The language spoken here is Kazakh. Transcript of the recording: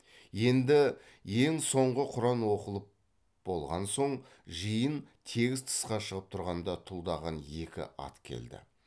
енді ең соңғы құран оқылып болған соң жиын тегіс тысқа шығып тұрғанда тұлдаған екі ат келді